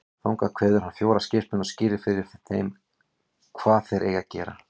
Þangað kveður hann fjóra skipsmenn og skýrir fyrir þeim hvað þeir eigi að gera.